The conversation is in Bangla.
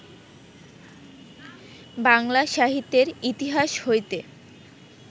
বাংলা সাহিত্যের ইতিহাস হইতে